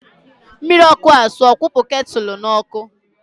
Mmiri ọkụ ahụ sụọ, kwụpụ ketụlụ n'ọkụ!.